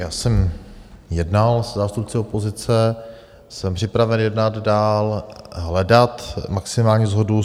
Já jsem jednal se zástupci opozice, jsem připraven jednat dál, hledat maximální shodu.